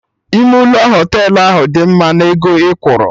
Ime ụlọ Họtelụ ahụ adị mma na ego ị kwuru?